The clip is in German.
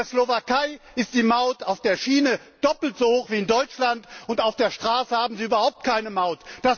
In der Slowakei ist die Maut auf der Schiene doppelt so hoch wie in Deutschland, und auf der Straße gibt es dort überhaupt keine Maut.